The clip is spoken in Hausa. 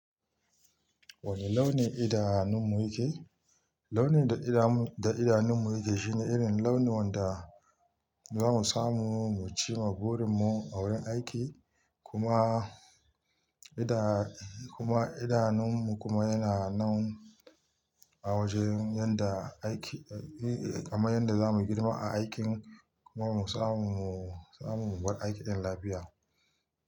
Wane launin idanun mu yake? Launin da idanu, da idanunmu yake shine irin launin da za mu samu mu cimma burin mu a wurin aiki. Kuma idan kuma idanunmu kuma yana nan a wajen yadda aiki, kamar yadda za mu girma a aikin kuma mu samu, mu samu mu bar aiki ɗin lafiya.